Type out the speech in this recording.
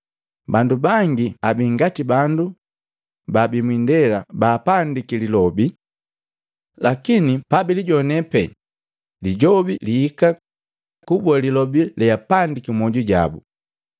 Bandu bangi abingati bandu bababii mwindela paapandiki lilobi. Lakini pabilijoana pee lijobi lihika kuboa lilobi leapandiki mmwoju jabo.